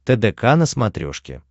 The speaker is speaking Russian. тдк на смотрешке